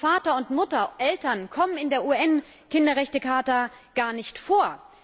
Und Vater und Mutter, Eltern, kommen in der UN Kinderrechtecharta gar nicht vor.